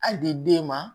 Hali di den ma